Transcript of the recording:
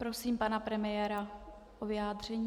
Prosím pana premiéra o vyjádření.